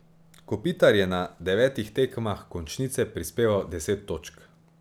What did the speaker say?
Kopitar je na devetih tekmah končnice prispeval deset točk.